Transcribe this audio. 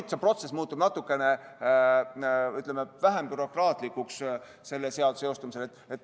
Aga see protsess muutub natukene vähem bürokraatlikuks, kui see seadus jõustub.